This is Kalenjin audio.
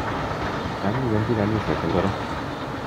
Cham iwendi kaniset ingoro?